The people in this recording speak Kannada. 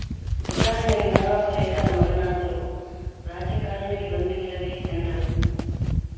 ಉದಾಹರಣೆಗೆ ನಾನೊಬ್ಬ ರೈತನ ಮಗನಾದರೂ ರಾಜಕಾರಣಕ್ಕೆ ಬಂದಿಲ್ಲವೇ ಎಂದರು